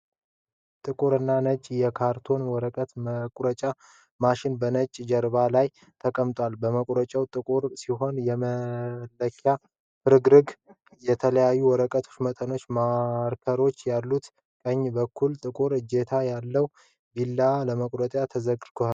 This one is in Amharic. ጥቁርና ነጭ የካርቶን ወረቀት መቁረጫ ማሽን በነጭ ጀርባ ላይ ተቀምጧል። መቁረጫው ጥቁር ሲሆን የመለኪያ ፍርግርግና የተለያዩ የወረቀት መጠኖች ማርከሮች አሉት። ቀኝ በኩል ጥቁር እጀታ ያለው ቢላዋ ለመቁረጥ ተዘርግቷል።